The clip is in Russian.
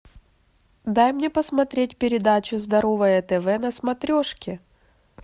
дай мне посмотреть передачу здоровое тв на смотрешке